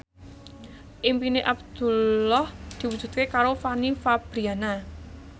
impine Abdullah diwujudke karo Fanny Fabriana